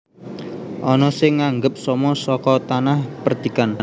Ana sing nganggep somo saka tanah perdikan